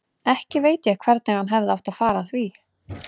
Ekki veit ég hvernig hann hefði átt að fara að því.